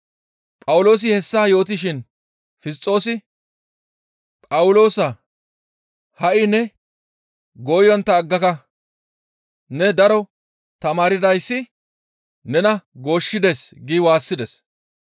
Phawuloosi hessa yootishin Fisxoosi, «Phawuloosaa! Ha7i ne gooyontta aggaka; ne daro tamaardayssi nena gooshshides» gi waassides.